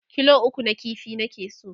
kilo 3 na ƙifi nake so